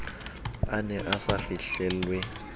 a ne a sa fihlelwe